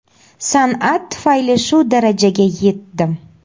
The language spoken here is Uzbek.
San’at tufayli shu darajaga yetdim.